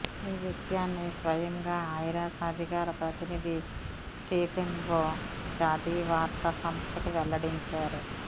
ఈ విషయాన్ని స్వయంగా ఐరాస అధికార ప్రతినిధి స్టీఫెన్ ఓ జాతీయ వార్తా సంస్థకు వెల్లడించారు